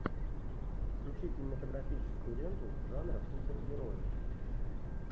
включи кинематографическую ленту жанра супергерои